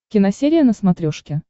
киносерия на смотрешке